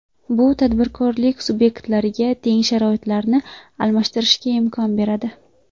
Bu tadbirkorlik subyektlariga teng sharoitlarni ta’minlashga imkon beradi.